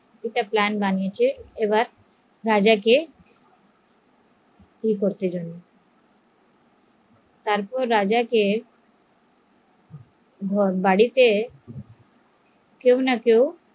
একটা plan বানিয়েছে যে রাজাকে তারপর রাজাকে বাড়িতে কেউ না কেউ